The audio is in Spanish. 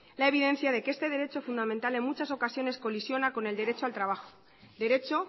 la evidencia de que este derecho fundamental en muchas ocasiones colisiona con el derecho al trabajo derecho